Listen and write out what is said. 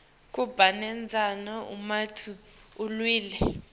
kubanendzala uma uwile